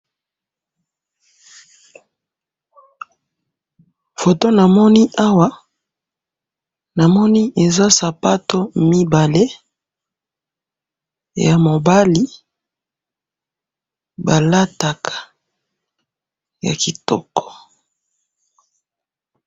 photo namoni awa, namoni eza sapatu mibale, ya mobali balataka ya kitoko